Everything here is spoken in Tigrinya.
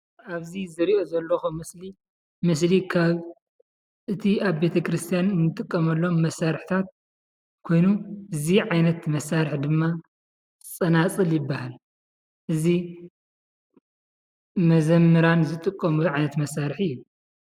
ኣብዚ ዝርኦ ዘለኩ ምስሊ እቲ ኣብ ቤተክርስትያን እንጥቀመሉ መሳርሒትታት ኮይኑ እዚ ዓይነት መሳሪሒ ድማ ፀናፅል ይባሃል። እዚ መዘምራን ዝጥቀሙሉ ዓይነት መሳርሒ እዩ።